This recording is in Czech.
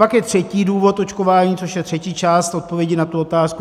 Pak je třetí důvod očkování, což je třetí část odpovědi na tu otázku.